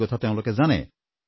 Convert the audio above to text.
এই কথা তেওঁলোকে জানে